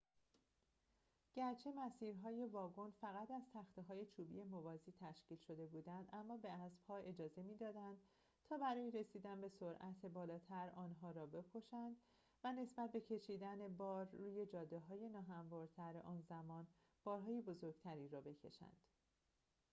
گرچه مسیر‌های واگن فقط از تخته های چوبی موازی تشکیل شده بودند اما به اسبها اجازه می دادند تا برای رسیدن به سرعت بالاتر آنها را بکشند و نسبت به کشیدن بار روی جاده های ناهموارتر آن زمان بارهای بزرگتری را بکشند